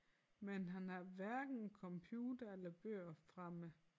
Men han har hverken computer eller bøger fremme